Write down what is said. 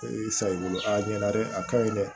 i sa i bolo a ɲɛna dɛ a ka ɲi dɛ